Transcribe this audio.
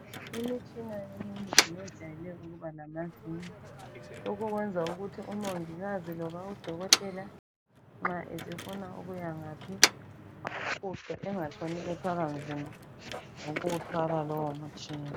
Imitshina eminengi yejayele ukubalamavili lokho kwenza ukuthi umongikazi loba udokotela nxa esefuna ukuyangaphi awufuqe engatshoni ethwala nzima ngokuwuthwala lowomtshina.